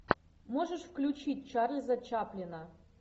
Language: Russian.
можешь включить чарльза чаплина